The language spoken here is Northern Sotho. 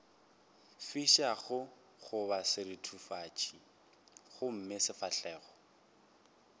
fišago goba seruthufatši gomme sefahlogo